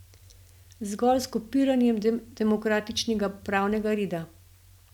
Zgolj s kopiranjem demokratičnega pravnega reda.